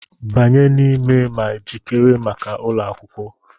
Banye n'ime ma jikere maka ụlọ akwụkwọ!